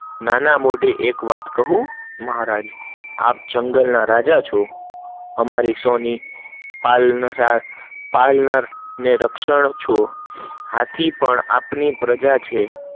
નાના મોટા એક વાત કહું, મહારાજ આપ જંગલ ના રાજા છૂ, અમારી સૌની પાલન અને રક્ષણ છો, હાથી પણ આપણી પ્રજા છે